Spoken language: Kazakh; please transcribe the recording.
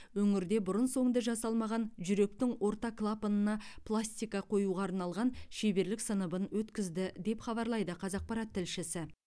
өңірде бұрын соңды жасалмаған жүректің орта клапанына пластика қоюға арналған шеберлік сыныбын өткізді деп хабарлайды қазақпарат тілшісі